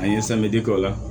An ye k'o la